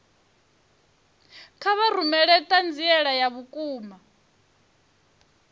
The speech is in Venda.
kha vha rumele ṱhanziela ya vhukuma